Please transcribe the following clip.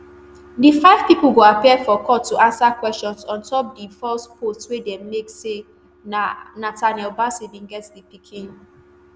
di five pipo go appear for court to ansa questions ontop di false posts wey dem make say na nathaniel bassey bin get di pikin